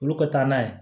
Olu ka taa n'a ye